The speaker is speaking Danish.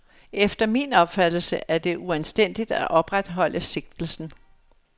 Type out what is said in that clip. Efter min opfattelse er det uanstændigt at opretholde sigtelsen.